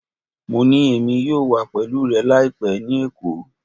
Mo ni Emi yoo wa pẹlu rẹ laipẹ ni Eko